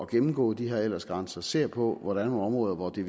gennemgå de her aldersgrænser og ser på hvor der er nogle områder hvor det